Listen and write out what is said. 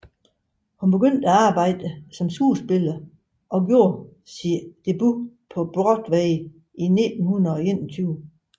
Hun begyndte at arbejde som skuespiller og gjorde hendes debut på Broadway i 1921